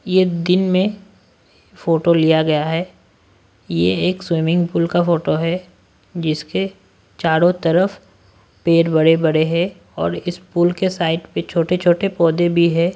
ये दिन में फोटो लिया गया है ये एक स्विमिंग पूल का फोटो है जिसके चारों तरफ पेर बड़े-बड़े हैं और इस पूल के साइड पे छोटे-छोटे पौधे भी है।